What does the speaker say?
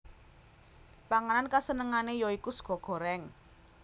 Panganan kasenengane ya iku sega goreng